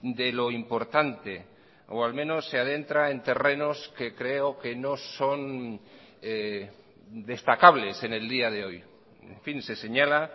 de lo importante o al menos se adentra en terrenos que creo que no son destacables en el día de hoy en fin se señala